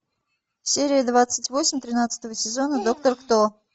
серия двадцать восемь тринадцатого сезона доктор кто